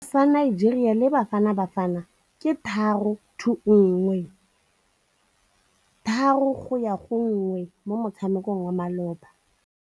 Sekôrô sa Nigeria le Bafanabafana ke 3-1 mo motshamekong wa malôba.